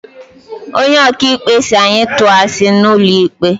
Onye ok'ikpe si anyi tuo asi n'ulo ikpe